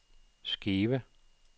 Skive